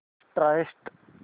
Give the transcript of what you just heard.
start